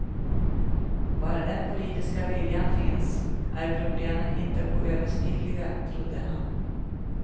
Bara den politiska viljan finns är problemen inte oöverstigliga, trodde han.